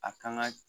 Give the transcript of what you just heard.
A kan ka